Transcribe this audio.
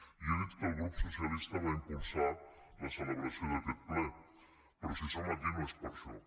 jo he dit que el grup socialista va impulsar la celebració d’aquest ple però si som aquí no és per això